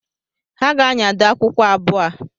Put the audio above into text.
Ha ga-anyado akwụkwọ abụọ a